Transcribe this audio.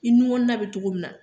I nun kɔnɔ na be togo min na